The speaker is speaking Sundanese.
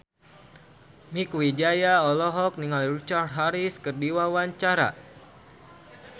Mieke Wijaya olohok ningali Richard Harris keur diwawancara